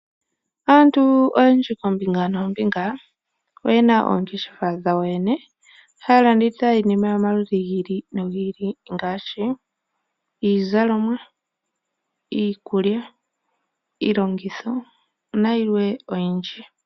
Aantu oyendji koombinga noombinga oyena oongeshefa dhawo yo yene, ohayalanditha iinima yomaludhi gi ili, ngaashi iizalomwa, iikulya, iilongitho nayilwe oyindji.